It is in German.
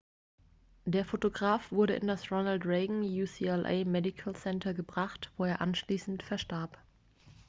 der fotograf wurde in das ronald reagan ucla medical center gebracht wo er anschließend verstarb